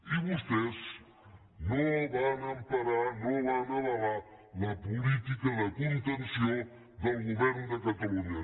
i vostès no el van emparar no van avalar la política de contenció del govern de catalunya